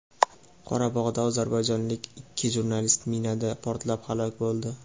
Qorabog‘da ozarbayjonlik ikki jurnalist minada portlab halok bo‘ldi.